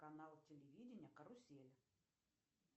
канал телевидения карусель